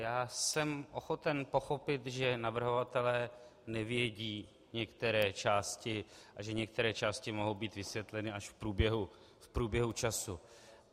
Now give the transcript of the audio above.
Já jsem ochoten pochopit, že navrhovatelé nevědí některé části a že některé části mohou být vysvětleny až v průběhu času.